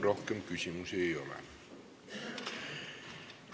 Rohkem küsimusi ei ole.